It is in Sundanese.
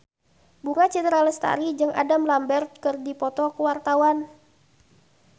Bunga Citra Lestari jeung Adam Lambert keur dipoto ku wartawan